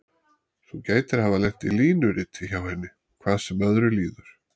Þú gætir hafa lent í línuriti hjá henni, hvað sem öðru líður.